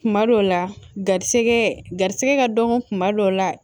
Kuma dɔw la garisigɛ garisigɛ ka dɔgɔ kuma dɔw la